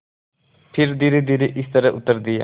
फिर धीरेधीरे इस तरह उत्तर दिया